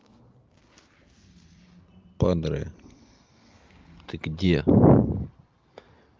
падре ты где